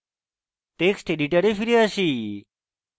text editor ফিরে আসি